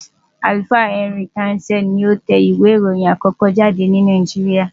Àlùfáà Henry Townsend ni ó tẹ ìwé ìròyìn àkókó jáde ní Nàìjíríà.